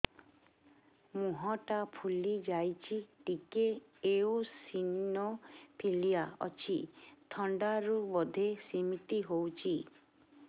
ମୁହଁ ଟା ଫୁଲି ଯାଉଛି ଟିକେ ଏଓସିନୋଫିଲିଆ ଅଛି ଥଣ୍ଡା ରୁ ବଧେ ସିମିତି ହଉଚି